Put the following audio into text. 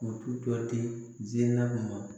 U ti tɔsila ma